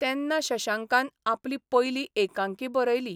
तेन्ना शशांकान आपली पयली एकांकी बरयली.